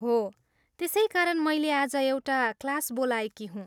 हो, त्यसैकारण मैले आज एउटा क्लास बोलाएकी हुँ।